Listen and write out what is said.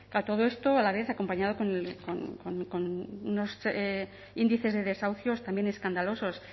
a todo esto a la vez acompañado con unos índices de desahucios también escandalosos